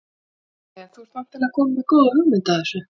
Nei nei En þú ert væntanlega kominn með góða hugmynd að þessu?